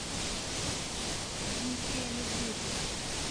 дмитрия медведева